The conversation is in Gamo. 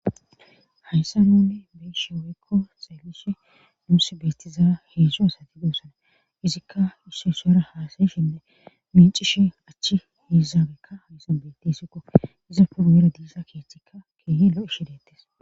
hayssa nonne beishe weekko xelishi duusi beettiza heedzsho asati goossana izikka issoysara haasayishinne micishi achchi hizaabekka hayssan betti isikko iza puruwera diisa keeththikka keehi lo7ishideettes